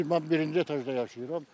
Mən birinci etajda yaşayıram.